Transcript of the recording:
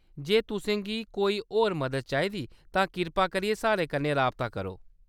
जे तुसें गी कोई होर मदद चाहिदी, तां कृपा करियै साढ़े कन्नै राबता करो।